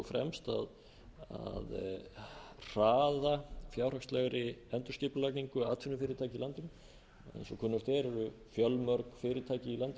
fremst að hraða fjárhagslegri endurskipulagningu atvinnufyrirtækja í landinu eins og kunnugt er eru fjölmörg fyrirtæki